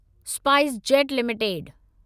SpiceJet limited